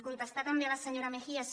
contestar també a la senyora mejías